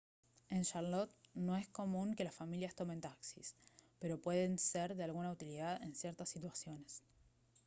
en charlotte no es común que las familias tomen taxis pero pueden ser de alguna utilidad en ciertas situaciones